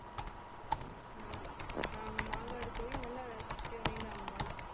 நாங்க மாங்காடு கோவில் நல்ல சக்தி வாய்ந்த அம்பாள்